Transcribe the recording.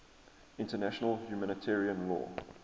international humanitarian law